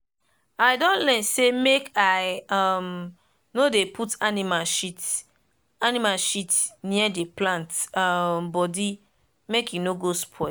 i don learn say make i um no dey put animal shit animal shit near the plant um body make e no go spoil.